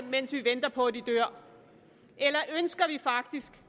mens vi venter på at de dør eller ønsker vi faktisk